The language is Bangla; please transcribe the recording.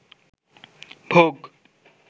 ভোগ